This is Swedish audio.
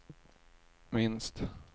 minst